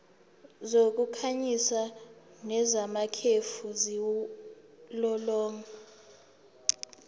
zokukhanyisa nezamakhefu ziwulolonga